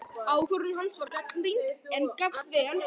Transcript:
Ákvörðun hans var gagnrýnd, en gafst vel.